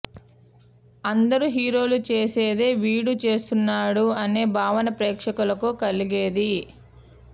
అందరు హీరోలు చేసేదే వీడూ చేస్తున్నాడు అనే భావన ప్రేక్షకులకు కలిగేది